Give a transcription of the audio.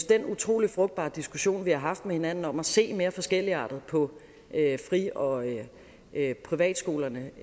den utrolig frugtbare diskussion vi har haft med hinanden om at se mere forskelligartet på fri og privatskolerne